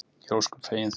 Ég er ósköp fegin því.